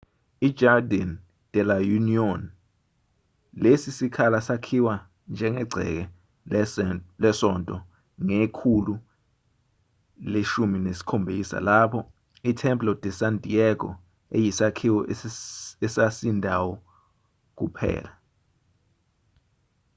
i-jardín de la unión. lesi sikhala sakhiwa njengegceke lesonto ngekhulu le-17 lapho i-templo de san diego eyisakhiwo esasindayo kuphela